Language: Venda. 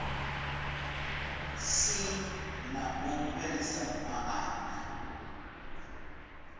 si na u fhelisa maana